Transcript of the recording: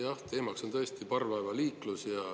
Jah, teemaks on tõesti parvlaevaliiklus.